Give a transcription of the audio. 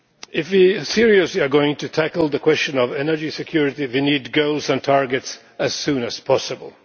If we are seriously going to tackle the question of energy security, we need goals and targets as soon as possible.